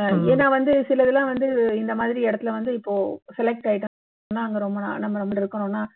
அஹ் ஏன்னா வந்து சிலதெல்லாம் வந்து இந்த மாதிரி இடத்துல வந்து இப்போ select ஆகிட்டோம்னா ரொம்ப நாள் நம்ப இருக்கறோம்னா